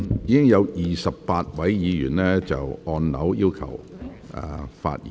現已有28位議員按鈕要求發言。